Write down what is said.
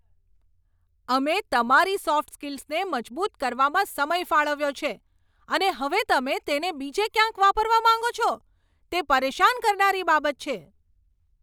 અમે તમારી સોફ્ટ સ્કિલ્સને મજબૂત કરવામાં સમય ફાળવ્યો છે, અને હવે તમે તેને બીજે ક્યાંય વાપરવા માંગો છો? તે પરેશાન કરનારી બાબત છે.